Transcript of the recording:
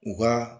U ka